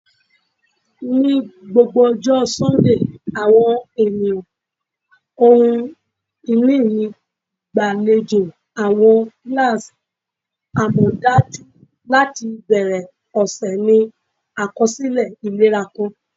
Ni gbogbo ọjọ Sundee, awọn eniyan ohun-ini mi gbalejo awọn kilasi amọdaju lati bẹrẹ ọsẹ ni akọsilẹ ilera kan.